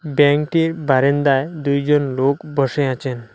ব্যাংকটির বারান্দায় দুইজন লোক বসে আছেন।